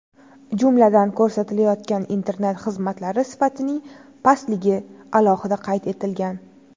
Jumladan, ko‘rsatilayotgan internet xizmatlari sifatining pastligi alohida qayd etilgan.